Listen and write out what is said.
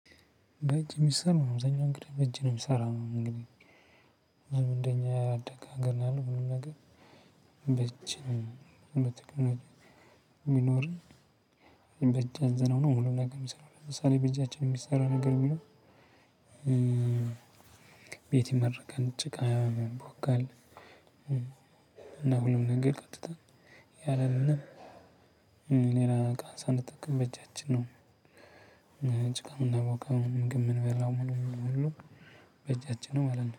በእጅ የሚሰራውን እንግዲህ በእጅ ነው የሚሰራው እንግዲህ። እንደኛ ያላደገ ሀገር ያለው ሁሉም ነገር በእጅ ነው። የሚኖር በእጅ አዘነው ነው ሁሉም ነገር የሚሰራው። ለምሳሌ በእጃችን የሚሰራ ነገር ቢኖር ቤት የመረጋል ጭቃ ይቦካል እና ሁሉም ነገር ቀጥታ ያለምንም ሌላ ዕቃን ሳንጠቀም በእጃችን ነው ጭቃ የምናቦካው ምግብ የምንበላው ምን ምን የምንለው በእጃችን ነው ማለት ነው።